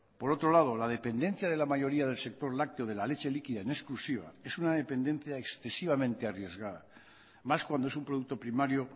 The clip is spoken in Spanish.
por otro lado la dependencia de la mayoría del sector lácteo de la leche líquida en exclusiva es una dependencia excesivamente arriesgada más cuando es un producto primario